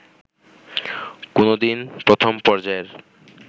কোনোদিন প্রথম পর্যায়ের